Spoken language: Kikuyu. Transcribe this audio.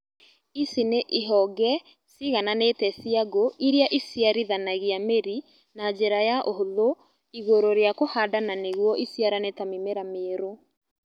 Ici ni ihonge cigananĩte cia ngũ iria ĩciarithanagia mĩri na njĩra ya ũhuthũ igũrũ rĩa kũhanda na nĩguo iciarane ta mĩmera mĩerũ.